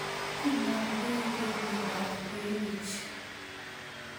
Kinamdoigei miondop Froehlich